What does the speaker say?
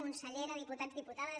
consellera diputats diputades